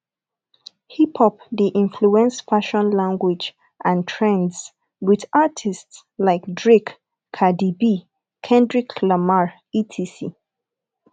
hiphop de influence fashion language and trends with artists like drake cardi b kendrick lamar etc